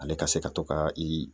Ale ka se ka to ka i